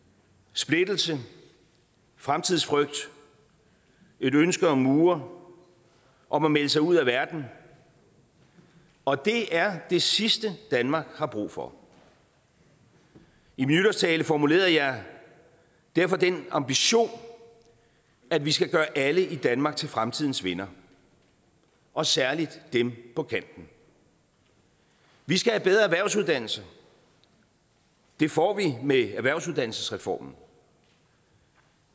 splittelse fremtidsfrygt et ønske om mure og om at melde sig ud af verden og det er det sidste danmark har brug for i min nytårstale formulerede jeg derfor den ambition at vi skal gøre alle i danmark til fremtidens vindere og særlig dem på kanten vi skal have bedre erhvervsuddannelser og det får vi med erhvervsuddannelsesreformen